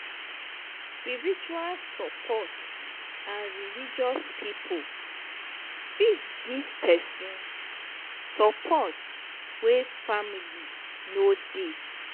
spiritual support and religious pipo fit give person support when family no dey